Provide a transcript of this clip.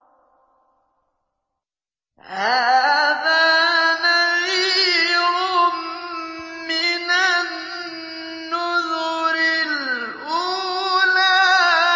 هَٰذَا نَذِيرٌ مِّنَ النُّذُرِ الْأُولَىٰ